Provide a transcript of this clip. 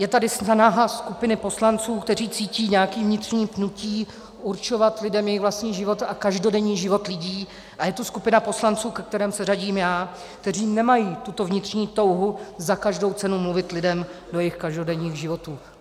Je tady snaha skupiny poslanců, kteří cítí nějaké vnitřní pnutí určovat lidem jejich vlastní život a každodenní život lidí, a je tu skupina poslanců, ke kterým se řadím já, kteří nemají tuto vnitřní touhu za každou cenu mluvit lidem do jejich každodenních životů.